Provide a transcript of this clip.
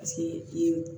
A se i ye